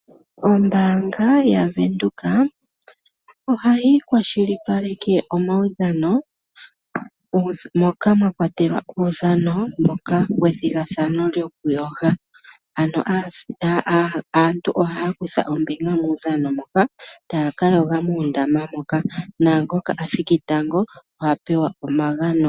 Ombaanga yaWindhoek ohayi kwa shilipaleke omaudhano, moka mwa kwatelwa uudhano wethigathano lyokuyoga, ano aantu ohaa kutha ombinga muudhano moka taa ka yoga moondama moka naangoka a thiki tango oha pewa omagano.